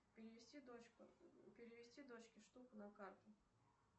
перевести дочке штуку на карту